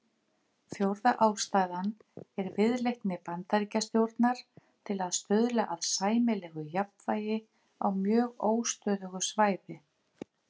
Fjórða ástæðan er viðleitni Bandaríkjastjórnar til að stuðla að sæmilegu jafnvægi á mjög óstöðugu svæði.